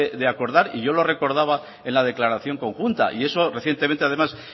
de acordar y yo lo recordaba en la declaración conjunta y eso recientemente además